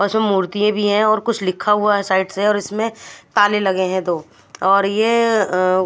और इसमे मूर्ति भी है और कुछ लिखा हुआ है साइड से और इसमे ताले लगे है दो और ये --